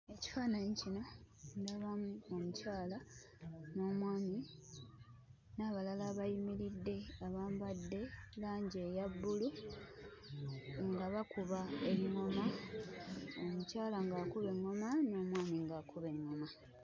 Ekifaananyi kino ndabamu omukyala n'omwami n'abalala abayimiridde abambadde langi eya bbulu nga bakuba engoma. Omukyala ng'akuba engoma n'omwami ng'akuba engoma.